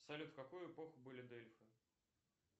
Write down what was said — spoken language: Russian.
салют в какую эпоху были дельфы